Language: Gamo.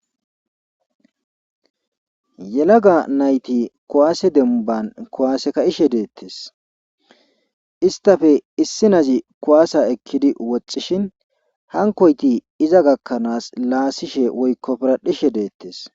Yelaga nayti kuwase demban kuwase ka'ishe detes, istappe issinaz kuwasa ekid woxishin hankoytibiza gakanas lasishe woyko piradhishe detes.